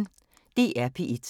DR P1